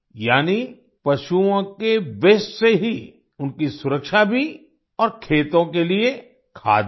यानी पशुओं के वास्ते से ही उनकी सुरक्षा भी और खेतों के लिए खाद भी